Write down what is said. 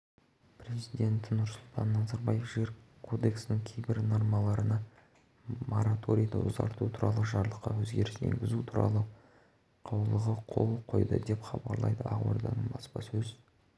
президенті нұрсұлтан назарбаев жер кодексінің кейбір нормаларына мораторийді ұзарту туралы жарлыққа өзгеріс енгізу туралы қаулығы қол қойды деп хабарлайды ақорданың баспасөз